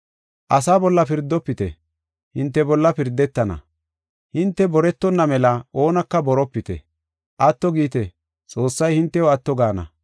“Asa bolla pirdofite; hinte bolla pirdetenna. Hinte boretonna mela oonaka boropite. Atto giite; Xoossay hintew atto gaana.